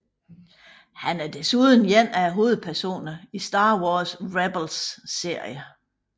Han er desuden en af hovedpersonerne i Star Wars Rebels serien